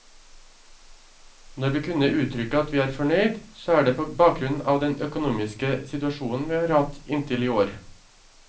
Når vi kunne uttrykke at vi er fornøyd, så er det på bakgrunn av den økonomiske situasjonen vi har hatt inntil i år.